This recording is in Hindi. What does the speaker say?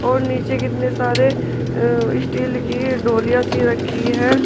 और नीचे कितने सारे अह स्टील की ढोलिया सी रखी है।